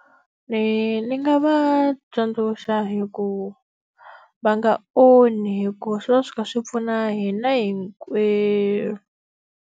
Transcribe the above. Ni ni nga va tsundzuxa hi ku va nga onhi hikuva swi va swi kha swi pfuna hina hinkwerhu.